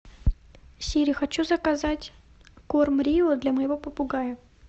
сири хочу заказать корм рио для моего попугая